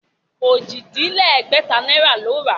Ojì-dín-lẹ́gbẹ̀ta náírà ni ó rà á